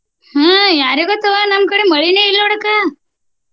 ಹ್ಮ ಯಾರಿಗೊತ್ವಾ ನಮ್ಮ ಕಡೆ ಮಳಿನ ಇಲ್ಲ ನೋಡ ಅಕ್ಕ.